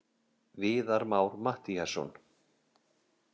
Viðar Már Mattíasson.